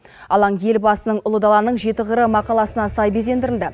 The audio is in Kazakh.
алаң елбасының ұлы даланың жеті қыры мақаласына сай безендірілді